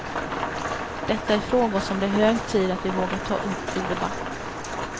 Detta är frågor som det är hög tid att vi vågar ta upp till debatt.